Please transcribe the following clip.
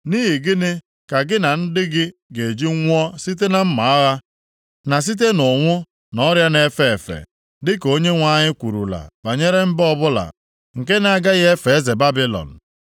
Nʼihi gịnị ka gị na ndị gị ga-eji nwụọ site na mma agha, na site nʼụnwụ na ọrịa na-efe efe, dịka nke Onyenwe anyị kwurula banyere mba ọbụla nke na-agaghị efe eze Babilọn?